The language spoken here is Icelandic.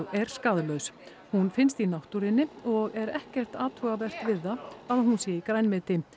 er skaðlaus hún finnst í náttúrunni og er ekkert athugavert við að hún sé í grænmeti